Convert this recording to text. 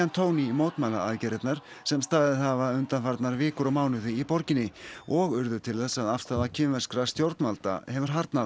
tón í mótmælaaðgerðirnar sem staðið hafa undanfarnar vikur og mánuði í borginni og urðu til þess að afstaða kínverskra stjórnvalda hefur harðnað